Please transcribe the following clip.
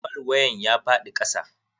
Falwayen ya faɗi kasa.